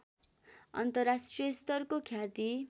अन्तर्राष्ट्रियस्तरको ख्याति